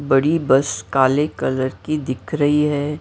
बड़ी बस काले कलर की दिख रही है।